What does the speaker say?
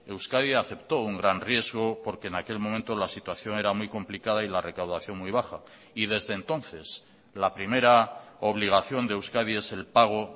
euskadi aceptó un gran riesgo porque en aquel momento la situación era muy complicada y la recaudación muy baja y desde entonces la primera obligación de euskadi es el pago